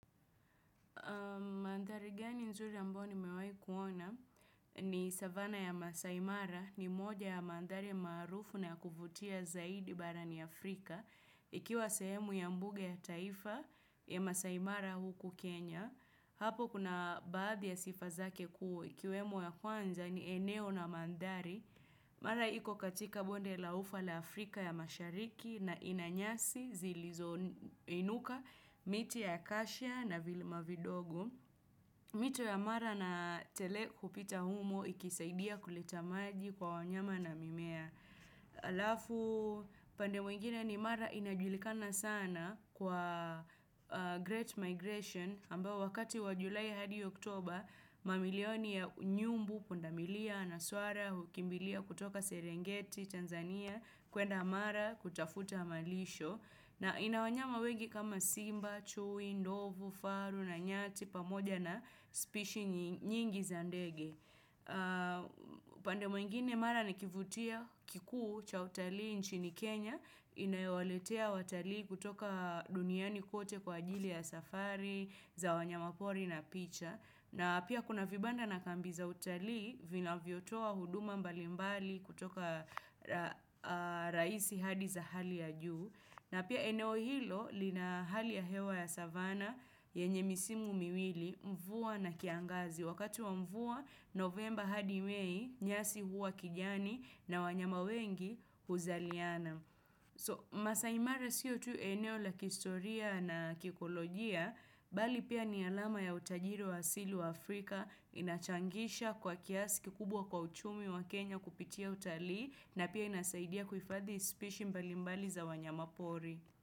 Mandhari gani nzuri ambao nimewahi kuona ni savana ya Masaimara ni moja ya mandhari maarufu na ya kuvutia zaidi barani Afrika. Ikiwa sehemu ya mbuge ya taifa ya Masaimara huku Kenya. Hapo kuna baadhi ya sifa zake kuu. Ikiwemo ya kwanza ni eneo na mandhari. Mara iko katika bonde la ufa la Afrika ya mashariki na ina nyasi zilizo inuka, miti ya akashia na vilima vidogo. Mito ya mara na tele hupita humo ikisaidia kuleta maji kwa wanyama na mimea. Alafu pande mwingine ni mara inajulikana sana kwa Great Migration, ambao wakati wa julai hadi october, mamilioni ya nyumbu, pundamilia, na swara, hukimbilia kutoka Serengeti, Tanzania, kwenda mara kutafuta malisho. Na ina wanyama wengi kama Simba, Chui, Ndovu, Faru, na Nyati, pamoja na spishi nyingi za ndege. Pande mwingine, mara na kivutio kikuu cha utalii nchini Kenya, inayo waletea watalii kutoka duniani kote kwa ajili ya safari, za wanyama pori na picha na pia kuna vibanda na kambi za utalii vinavyo toa huduma mbalimbali kutoka rahisi hadi za hali ya juu na pia eneo hilo lina hali ya hewa ya savana yenye misimu miwili mvua na kiangazi wakati wa mvuwa novemba hadi mei nyasi huwa kijani na wanyama wengi huzaliana. So, masaimara siyo tu eneo la kihistoria na kikolojia, bali pia ni alama ya utajiri wa asili wa Afrika inachangisha kwa kiasi kikubwa kwa uchumi wa Kenya kupitia utalii na pia inasaidia kuhifadhi ispishi mbalimbali za wanyama pori.